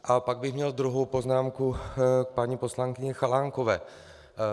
A pak bych měl druhou poznámku k paní poslankyni Chalánkové.